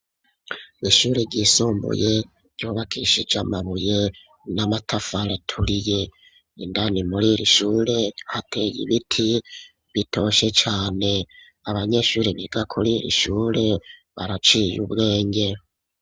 Ishure ryisumbuye ryubakishijwe amabuye n'amatafari aturiye, indani muriri shure haate ibiti bitotahaye cane abanyeshuri biga kuri ishure baraciye ubwenge.